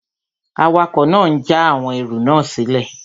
Awakọ̀ náà n já àwọn ẹrù náà sílẹ̀